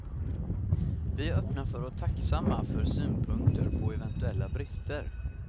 Vi är öppna för och tacksamma för synpunkter på eventuella brister.